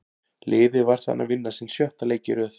Liðið var þarna að vinna sinn sjötta leik í röð.